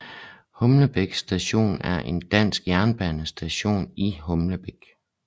Humlebæk Station er en dansk jernbanestation i Humlebæk